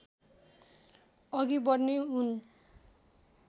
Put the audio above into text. अघि बढ्ने हुन्